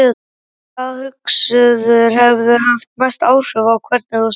Hvaða hugsuður hefur haft mest áhrif á hvernig þú starfar?